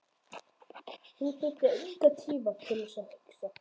Þú þarft engan tíma til að hugsa.